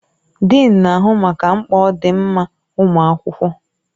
Dịịn na-ahụ maka mkpa ọdịmma ụmụ akwụkwọ.